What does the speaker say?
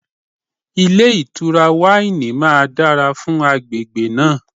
Ilé ìtura wáìnì máa dára fún agbègbè náà.